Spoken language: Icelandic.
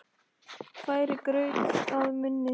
Færir graut að munni.